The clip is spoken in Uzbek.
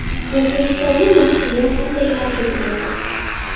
O‘zbekistonda mahkumlar qanday afv etiladi?.